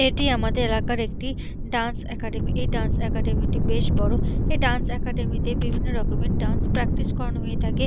এটি আমাদের এলাকার একটি ডান্স একাডেমী । এই ডান্স একাডেমী টি বেশ বড়। এই ডান্স একাডেমী তে বিভিন্ন রকমের ডান্স প্রাকটিস করানো হয়ে থাকে।